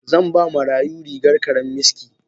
Zan ba Maryamu rigar karammiski.